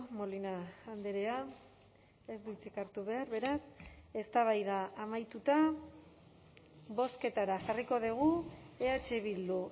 molina andrea ez du hitzik hartu behar beraz eztabaida amaituta bozketara jarriko dugu eh bildu